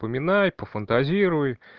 пофантазируй